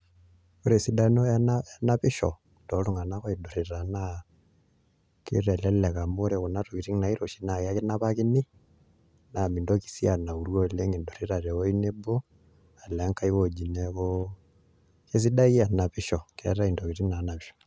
Ore esidano enapisho too iltunganak oidurrita naa kitelelek amu ore kuna tokitin naairoshi na ekinapakini naa mendoki sii anauru oleng' idurrita te wuoi nabo alo ankaji woji neeku esidai enapisho keetae intokitin naapisho